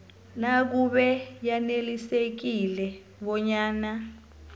nakube yanelisekile bonyana